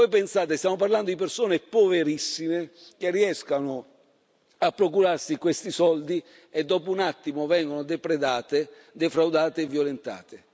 Voi pensate, stiamo parlando di persone poverissime che riescono a procurarsi questi soldi e dopo un attimo vengono depredate, defraudate e violentate.